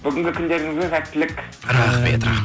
бүгінгі күндеріңізге сәттілік рахмет